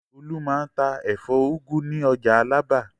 Olú máa ń ta ẹ̀fọ́ úgú ní ọjà Alábà.